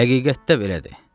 Həqiqətdə belədir.